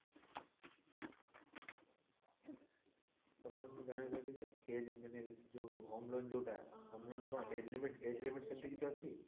ତ ma'am ମୁଁ ଜାଣିବାକୁ ଚାହୁଁଛି ଯେ age ମାନେ ଯୋଉ home loan ଯୋଊଟା age limit age limit ସେମିତି କିଛି ଅଛି?